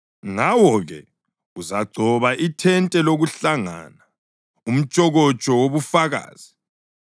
Ngawo-ke uzagcoba ithente lokuhlangana, umtshokotsho wobufakazi,